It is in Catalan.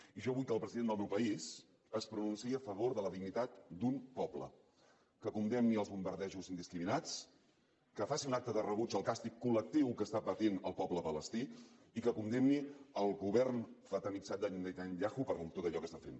i jo vull que el president del meu país es pronunciï a favor de la dignitat d’un poble que condemni els bombardejos indiscriminats que faci un acte de rebuig al càstig col·lectiu que està patint el poble palestí i que condemni el govern fanatitzat de netanyahu per tot allò que està fent